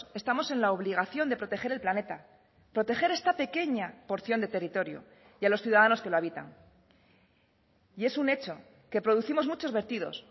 estamos en la obligación de proteger el planeta proteger esta pequeña porción de territorio y a los ciudadanos que lo habitan y es un hecho que producimos muchos vertidos